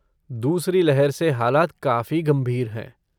दूसरी लहर से हालात काफी गंभीर हैं।